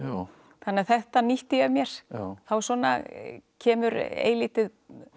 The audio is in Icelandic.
þannig að þetta nýtti ég mér þá svona kemur eilítið